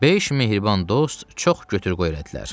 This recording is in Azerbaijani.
Beş mehriban dost çox götür-qoy elədilər.